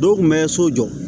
Dɔw kun bɛ so jɔ